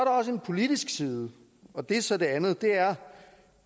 også en politisk side og det er så det andet det er